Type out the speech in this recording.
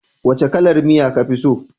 Wace kalar miya ka fi so